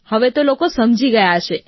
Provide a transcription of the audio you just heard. હવે તો લોકો સમજી ગયા છે